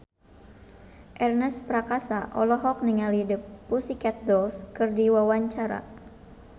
Ernest Prakasa olohok ningali The Pussycat Dolls keur diwawancara